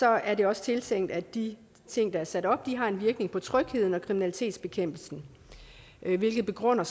er det også tiltænkt at de ting der er sat op har en virkning på trygheden og kriminalitetsbekæmpelsen hvilket begrunder